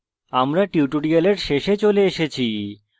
আমরা tutorial শেষে চলে এসেছি